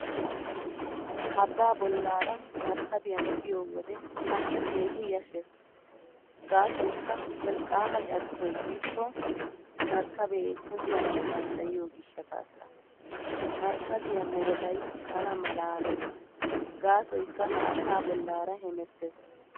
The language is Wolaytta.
Abbaa bollaara markkabiyan biyo wode tana keehi yashshees gaasoykka wolqqaama carkkoy yiikko markkabee kunddanawu danddayiyo gishshataassa. Markkabiya meretay tanà malaalees gaasoykka haattaa bollaara hemettees.